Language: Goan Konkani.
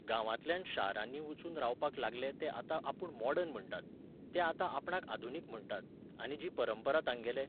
गांवांतल्यान शारांनी वचून रावपाक लागले ते आतां आपूण मॉडर्न म्हणटात, ते आतां आपणाक आधुनीक म्हणटात, आनी जी परंपरा तांगेले